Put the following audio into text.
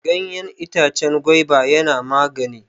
Ganyen itacen gwaiba yana magani.